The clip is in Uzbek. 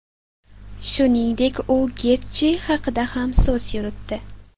Shuningdek, u Getji haqida ham so‘z yuritdi.